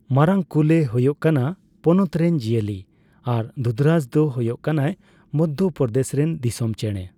ᱢᱟᱨᱟᱝ ᱠᱩᱞ ᱮ ᱦᱳᱭᱳᱜ ᱠᱟᱱᱟ ᱯᱚᱱᱚᱛ ᱨᱮᱱ ᱡᱤᱭᱟᱹᱞᱤ ᱟᱨ ᱫᱩᱫᱷᱨᱟᱡᱽ ᱫᱚ ᱦᱳᱭᱳᱜ ᱠᱟᱱᱟᱭ ᱢᱚᱫᱽᱫᱷᱚᱯᱨᱚᱫᱮᱥ ᱨᱮᱱ ᱫᱤᱥᱚᱢ ᱪᱮᱸᱬᱮ ᱾